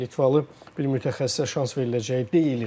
Litvalı bir mütəxəssisə şans veriləcəyi deyilr.